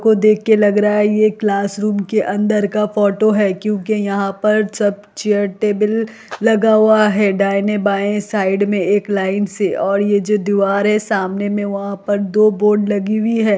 इसको देख के लग रहा हैं ये क्लास रूम के अंदर का फोटो हैं क्योंकि यहाँ पर सब चेयर टेबल लगा हुआ हैं दाहने बायें साइड में एक लाइन से और ये जो दीवार हैं सामने में वहाँ पर दो बोर्ड लगी हुई हैं।